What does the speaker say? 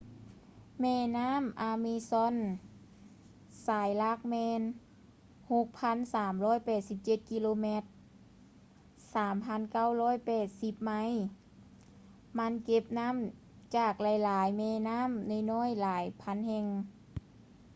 ແມ່ນ້ຳ amazon ສາຍຫຼັກແມ່ນ 6,387 km 3,980 ໄມລ. ມັນເກັບນ້ຳຈາກຫລາຍໆແມ່ນ້ຳນ້ອຍໆຫລາຍພັນແຫ່ງ